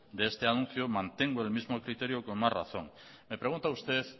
de este anuncio mantengo el mismo criterio con más razón me pregunta usted